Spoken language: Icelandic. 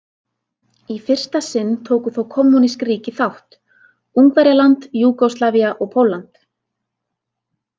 Í fyrsta sinn tóku þó kommúnísk ríki þátt: Ungverjaland, Júgóslavía og Pólland.